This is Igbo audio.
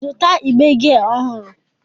Zụta igbe gia ọhụrụ!